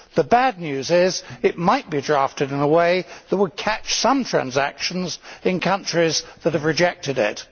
The bad news is that it might be drafted in a way that would catch some transactions in countries that have rejected it.